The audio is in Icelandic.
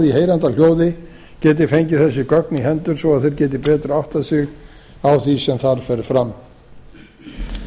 heyranda hljóði geti fengið þessi gögn í hendur svo þeir geti betur áttað sig á því sem þar fer fram í